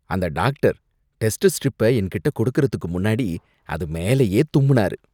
அந்த doctor test ஸ்ட்ரிப்ப என்கிட்ட கொடுக்கறதுக்கு முன்னாடி அது மேலயே தும்முனாரு.